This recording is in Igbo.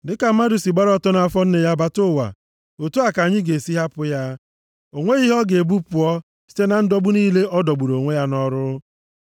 Dịka mmadụ si gbara ọtọ site nʼafọ nne ya bata nʼụwa, otu a ka anyị ga-esi hapụ ya. O nweghị ihe ọ ga-ebu pụọ site na ndọgbu niile ọ dọgburu onwe ya nʼọrụ.